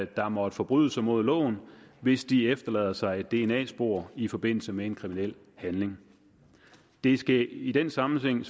der måtte forbryde sig mod loven hvis de efterlader sig et dna spor i forbindelse med en kriminel handling det skal i den sammenhæng